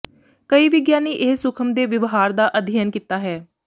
ਕਈ ਵਿਗਿਆਨੀ ਇਹ ਸੂਖਮ ਦੇ ਵਿਵਹਾਰ ਦਾ ਅਧਿਐਨ ਕੀਤਾ ਹੈ